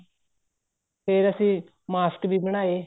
ਫ਼ੇਰ ਅਸੀਂ mask ਵੀ ਬਣਾਏ